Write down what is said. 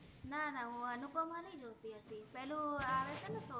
ના ના મુ અનુપમા નૈ જોતી હતી પેલુ આવે છે ને